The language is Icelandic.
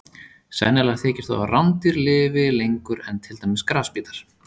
Sennilegt þykir þó að rándýr lifi lengur en til dæmis grasbítar.